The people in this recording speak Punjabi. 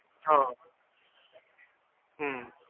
ਹਾਂ ਹਮ